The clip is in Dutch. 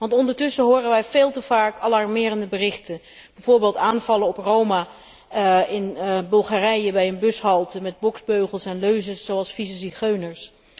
Want ondertussen horen wij veel te vaak alarmerende berichten, bijvoorbeeld aanvallen op Roma in Bulgarije bij een bushalte met boksbeugels en leuzen zoals 'vieze zigeuners'.